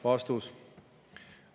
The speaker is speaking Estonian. " Vastus.